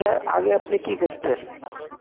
আগে আপনি কি করতেন?